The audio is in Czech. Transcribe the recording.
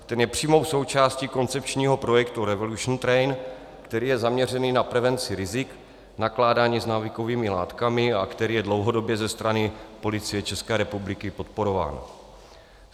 Ten je přímou součástí koncepčního projektu Revolution train, který je zaměřený na prevenci rizik nakládání s návykovými látkami a který je dlouhodobě ze strany Policie České republiky podporován.